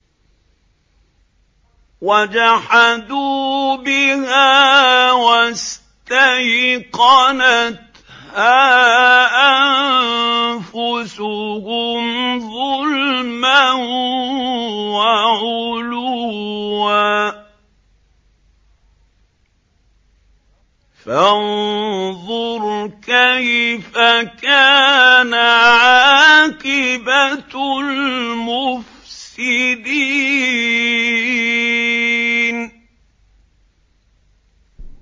وَجَحَدُوا بِهَا وَاسْتَيْقَنَتْهَا أَنفُسُهُمْ ظُلْمًا وَعُلُوًّا ۚ فَانظُرْ كَيْفَ كَانَ عَاقِبَةُ الْمُفْسِدِينَ